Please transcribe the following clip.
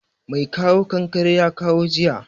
Mai kawo kankare ya kawo jiya